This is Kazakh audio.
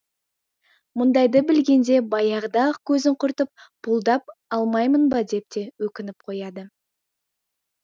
мұндайды білгенде баяғыда ақ көзін құртып пұлдап алмаймын ба деп те өкініп қояды